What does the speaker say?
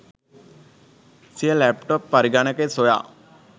සිය ලැප්ටොප් පරගණකය සොයා